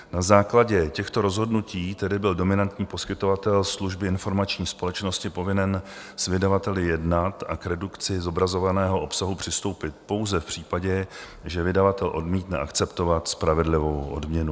Na základě těchto rozhodnutí tedy byl dominantní poskytovatel služby informační společnosti povinen s vydavateli jednat a k redukci zobrazovaného obsahu přistoupit pouze v případě, že vydavatel odmítne akceptovat spravedlivou odměnu.